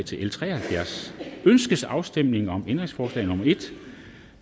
til l tre og halvfjerds ønskes afstemning om ændringsforslag nummer en